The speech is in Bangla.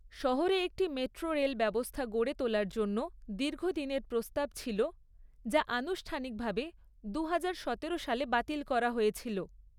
শহরে একটি মেট্রো রেল ব্যবস্থা গড়ে তোলার জন্য দীর্ঘদিনের প্রস্তাব ছিল, যা আনুষ্ঠানিকভাবে দু হাজার সতেরো সালে বাতিল করা হয়েছিল।